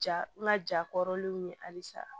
Ja n ka ja kɔrɔlenw ye halisa